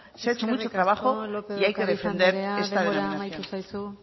se ha hecho mucho trabajo y hay que defender esta denominación eskerrik asko lópez de ocariz andrea denbora amaitu zaizu